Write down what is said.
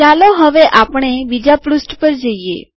ચાલો હવે આપણે બીજા પૃષ્ઠ પર જઈએ